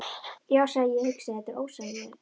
Já, sagði ég hugsi: Þetta er. ósegjanlegt.